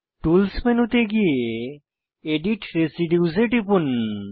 tools মেনুতে গিয়ে edit residues এ টিপুন